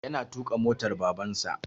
Yana tuƙa motar Babansa.